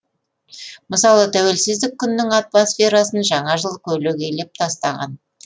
мысалы тәуелсіздік күнінің атмосферасын жаңа жыл көлегейлеп тастаған